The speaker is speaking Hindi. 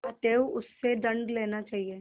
अतएव उससे दंड लेना चाहिए